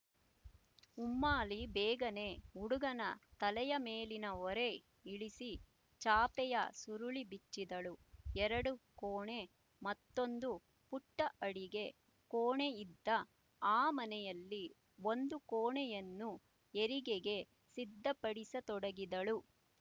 ಉಮ್ಮಾಲಿ ಬೇಗನೇ ಹುಡುಗನ ತಲೆಯ ಮೇಲಿನ ಹೊರೆ ಇಳಿಸಿ ಚಾಪೆಯ ಸುರುಳಿ ಬಿಚ್ಚಿದಳು ಎರಡು ಕೋಣೆ ಮತ್ತೊಂದು ಪುಟ್ಟ ಅಡಿಗೆ ಕೋಣೆ ಇತ್ತ ಆ ಮನೆಯಲ್ಲಿ ಒಂದು ಕೋಣೆಯನ್ನು ಹೆರಿಗೆಗೆ ಸಿದ್ಧಪಡಿಸತೊಡಗಿದಳು